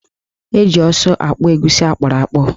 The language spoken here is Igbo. Eji ọsụ akpụ egusi akpụrụakpụ.